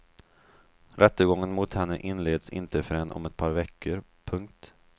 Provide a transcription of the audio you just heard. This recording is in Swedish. Rättegången mot henne inleds inte förrän om ett par veckor. punkt